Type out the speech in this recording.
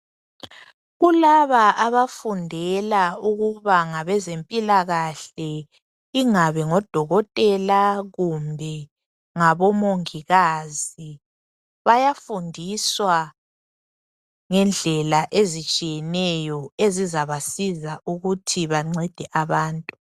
Kulaba abafundela ukuba ngabezempilakahle ingabe ngodokotela kumbe ngabo mongikazi bayafundiswa ngendlela ezitshiyeneyo ezizabasiza ukuthi bancede abantu.